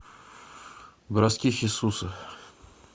броски хесуса